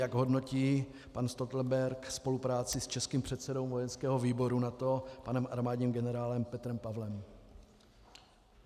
jak hodnotí pan Stoltenberg spolupráci s českým předsedou vojenského výboru NATO panem armádním generálem Petrem Pavlem.